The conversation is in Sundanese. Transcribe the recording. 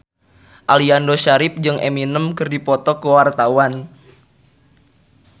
Aliando Syarif jeung Eminem keur dipoto ku wartawan